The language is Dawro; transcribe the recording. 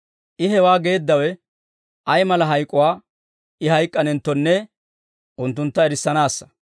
I hewaa geeddawe ay mala hayk'uwaa I hayk'k'anenttonne unttuntta erissanaassa.